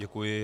Děkuji.